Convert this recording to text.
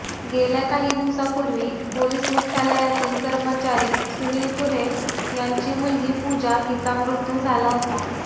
गेल्या काही दिवसापूर्वी पोलीस मुख्यालयातील कर्मचारी सुनील कुऱ्हे यांची मुलगी पूजा हिचा मृत्यू झाला होता